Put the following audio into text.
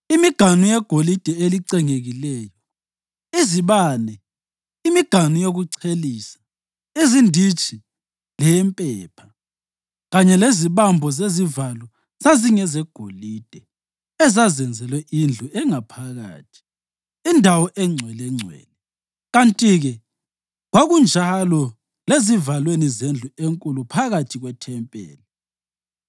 imiganu yegolide elicengekileyo, izibane, imiganu yokuchelisa, izinditshi leyempepha; kanye lezibambo zezivalo zingezegolide ezazenzelwe indlu engaphakathi, indawo eNgcwelengcwele, kanti-ke kwakunjalo lezivalweni zendlu enkulu phakathi kwethempeli.